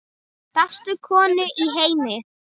Bestu konu í heimi.